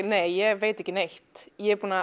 nei ég veit ekki neitt ég er búin að